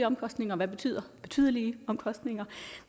omkostninger og hvad betyder betydelige omkostninger